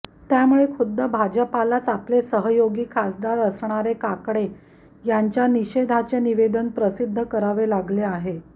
त्यामुळे खुद्द भाजपलाच आपले सहयोगी खासदार असणारे काकडे यांच्या निषेधाचे निवेदन प्रसिद्ध करावे लागले आहे